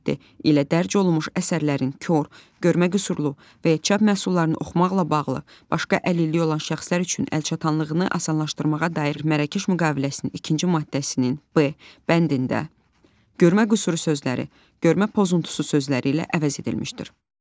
ilə dərc olunmuş əsərlərin kor, görmə qüsurlu və ya çap məhsullarını oxumaqla bağlı başqa əlilliyi olan şəxslər üçün əlçatanlığını asanlaşdırmağa dair Mərrakəş müqaviləsinin ikinci maddəsinin “b” bəndində “görmə qüsurlu” sözləri “görmə pozuntusu” sözləri ilə əvəz edilmişdir.